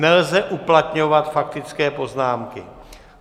Nelze uplatňovat faktické poznámky.